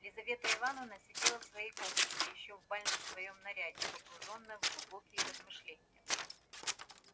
лизавета ивановна сидела в своей комнате ещё в бальном своём наряде погружённая в глубокие размышления